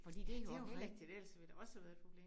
Ja det jo rigtig ellers ville det da også have været et problem